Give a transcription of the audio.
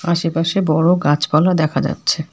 আশেপাশে বড় গাছপালা দেখা যাচ্ছে।